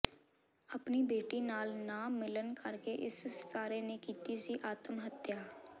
ਆਪਣੀ ਬੇਟੀ ਨਾਲ ਨਾ ਮਿਲਣ ਕਰਕੇ ਇਸ ਸਿਤਾਰੇ ਨੇ ਕੀਤੀ ਸੀ ਆਤਮ ਹੱਤਿਆ